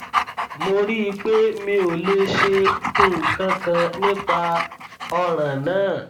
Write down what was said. mo rí i pé mi ò lè ṣe nǹkan kan nípa ọràn náà